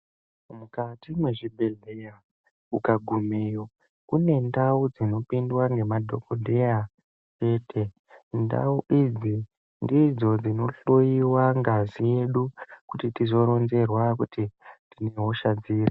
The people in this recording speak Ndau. Mukati mezvibhehlera ukagumeyo kune ndau dzinopindwa namadhogodheya chete. Ndau idzi ndidzo dzinohloiwa ngazi yedu kuti tiroronzerwa kuti tine hosha dziri.